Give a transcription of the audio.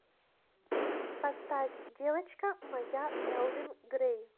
поставь девочка моя элвин грэй